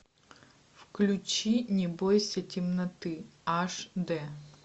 включи не бойся темноты аш д